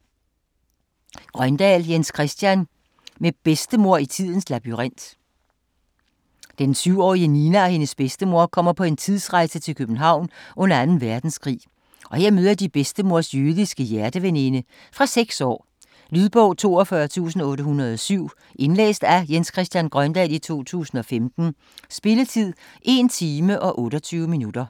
Grøndahl, Jens Christian: Med bedstemor i tidens labyrint Den syvårige Nina og hendes bedstemor kommer på en tidsrejse til København under anden verdenskrig, og her møder de bedstemors jødiske hjerteveninde. Fra 6 år. Lydbog 42807 Indlæst af Jens Christian Grøndahl, 2015. Spilletid: 1 time, 28 minutter.